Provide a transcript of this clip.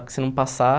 Porque se não passar...